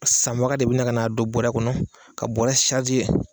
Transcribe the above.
Sanbaga de bɛna k'a don bɔrɛ kɔnɔ ka bɔrɛ ye